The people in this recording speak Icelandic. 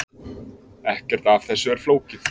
Ekkert af þessu er flókið